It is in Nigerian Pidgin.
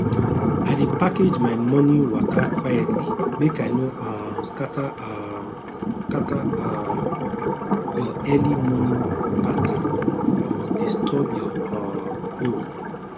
i dey package my morning waka quietly make i no um scatter um scatter um your early morning pattern or disturb your um own